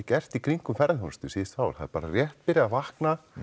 gert í kringum ferðaþjónustu síðustu ár það er bara rétt byrjað að vakna